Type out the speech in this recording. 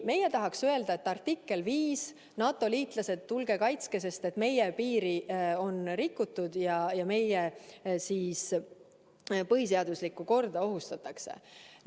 Meie tahaks öelda, et käivitub artikkel 5, NATO-liitlased, tulge kaitske meid, sest meie piiri on rikutud ja meie põhiseaduslikku korda ohustatakse.